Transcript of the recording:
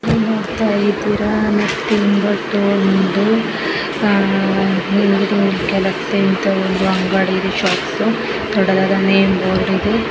ಇಲ್ಲಿ ನಾವು ನೋಡ್ತಾ ಇದ್ದೀರಾ ದೊಡ್ಡದಾದ ನೇಮ್ ಬೋರ್ಡ್ ಇದೆ .